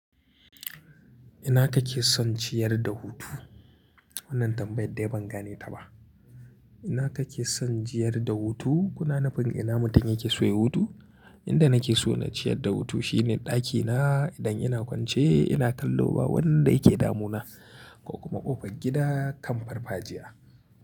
Ina kake son ciyar da hutu? Wannan tambayar dai ban gane ta ba. Ina kake son jiyar da hutu? Kunananfin ina mutum yake so ya hutu? Inda nake so na ciyar da hutu shine ɗakina idan ina kwance ina kallo ba wanda yake damuna ko kuma ƙofar gida kan farfajiya.